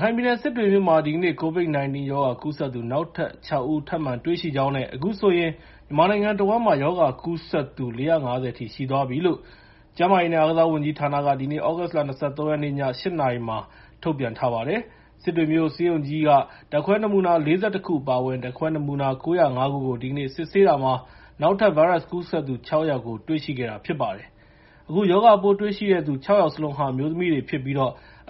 ခိုင်ပြည်နယ် စစ်တွေမြို့မှာ ဒီကနေ့ COVID-19 ရောဂါ ကူးစက်သူ နောက်ထပ် ၆ ဦး ထပ်မံတွေ့ရှိကြောင်းနဲ့ အခုဆိုရင် မြန်မာနိုင်ငံတဝန်းမှာ ဒီရောဂါကူးစက်သူ ၄၅၀ အထိ ရှိသွားပြီလို့ ကျန်းမာရေးနဲ့ အားကစားဝန်ကြီးဌာနက ဒီနေ့ သြဂုတ်လ ၂၃ ရက်နေ့ ည ၈ နာရီက ထုတ်ပြန်ပါတယ်။ စစ်တွေပြည်သူ့ဆေးရုံကြီး ဓာတ်ခွဲနမူနာ ၄၁ ခု အပါအဝင် ဓာတ်ခွဲနမူနာ ၉၀၅ ခုကို ဒီနေ့ စစ်ဆေးတာမှာ နောက်ထပ် ဗိုင်းရပ်စ်ကူးစက်သူ ၆ ယောက်ကို တွေ့ရှိခဲ့တာ ဖြစ်ပါတယ်။ အခုရောဂါပိုးတွေ့ရှိတဲ့ ၆ ယောက်စလုံးဟာ အမျိုးသမီးတွေဖြစ်ပြီး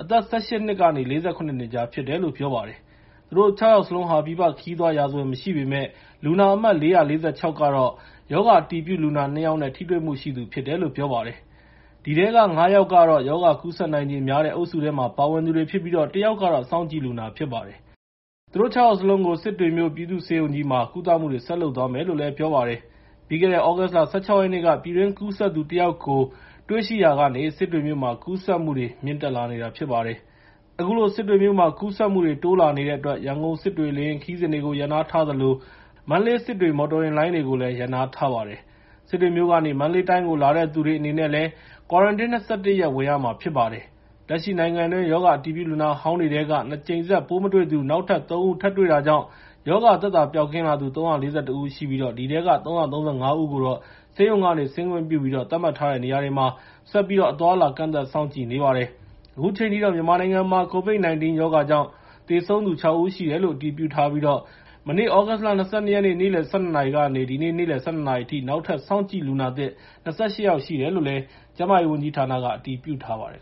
အသက် ၁၈ နှစ်ကနေ ၄၇ နှစ်ကြား ဖြစ်တယ်လို့ ပြောပါတယ်။ သူတို့ ၆ ယောက်စလုံး ပြည်ပ ခရီးသွားရာဇဝင် မရှိပေမယ့် လူနာအမှတ် ၄၄၆ ကတော့ ရောဂါအတည်ပြုလူနာ ၂ ယောက်နဲ့ ထိတွေ့မှုရှိသူဖြစ်တယ်လို့ ပြောပါတယ်။ ဒီထဲက ၅ ယောက်ကတော့ ရောဂါကူးစက်နိုင်ချေများတဲ့ အုပ်စုထဲမှာ ပါဝင်သူတွေဖြစ်ပြီး ၁ ယောက်က စောင့်ကြည့်လူနာ ဖြစ်ပါတယ်။ သူတို့ ၆ ယောက်စလုံးကို စစ်တွေ ပြည်သူ့ဆေးရုံကြီးမှာ ကုသမှုတွေ ဆက်လုပ်သွားမယ်လို့ ပြောပါတယ်။ ပြီးခဲ့တဲ့ သြဂုတ်လ ၁၆ ရက်နေ့က ပြည်တွင်းကူးစက်သူ ၁ ယောက်ကို တွေ့ရှိရာကနေ စစ်တွေမြို့မှာ ကူးစက်မှုတွေ မြင့်တက်လာနေတာ ဖြစ်ပါတယ်။ အခုလို စစ်တွေမြို့မှာ ကူးစက်မှုတွေ တိုးလာနေတဲ့အတွက် ရန်ကုန်-စစ်တွေ လေယာဉ်ခရီးစဉ်တွေကို ရပ်နားထားသလို မန္တလေး-စစ်တွေ မော်တော်ယာဉ်လိုင်းတွေကိုလည်း ရပ်နားထားပါတယ်။ စစ်တွေမြို့ကနေ မန္တလေးတိုင်းကို လာတဲ့လူတွေအနေနဲ့ ကွာရန်တင်း ၂၁ ရက် ဝင်ရမှာဖြစ်ပါတယ်။ လက်ရှိ နိုင်ငံတွင်း ရောဂါအတည်ပြု လူနာဟောင်းတွေထဲမှာတော့ ၂ ကြိမ်ဆက် ပိုးမတွေ့သူ နောက်ထပ် ၃ ဦး ထပ်တွေ့တာကြောင့် ရောဂါသက်သာ ပျောက်ကင်းလာသူ ၃၄၁ ဦးရှိပြီး ဒီထဲက ၃၃၅ ဦးကို ဆေးရုံက ဆင်းခွင့်ပြုပြီး သတ်မှတ်ထားတဲ့ နေရာတွေမှာ ဆက်ပြီးတော့ အသွားအလာ ကန့်သတ်စောင့်ကြည့်နေပါတယ်။ အခုချိန်ထိတော့ မြန်မာနိုင်ငံမှာ COVID-19 ရောဂါကြောင့် သေဆုံးသူ ၆ ဦးရှိတယ်လို့ အတည်ပြုထားပြီး မနေ့ သြဂုတ်လ ၂၂ ရက်နေ့ နေ့လယ် ၁၂ နာရီကနေ ဒီနေ့ နေ့လယ် ၁၂ နာရီအထိ နောက်ထပ် စောင့်ကြည့်လူနာသစ် ၂၈ ယောက်ရှိတယ်လို့ ကျန်းမာရေးဝန်ကြီးဌာနက ပြောပါတယ်